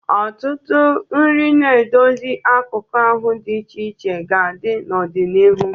Ọtụtụ nri na-edozi akụkụ ahụ dị iche iche ga-adị n'ọdịnihu.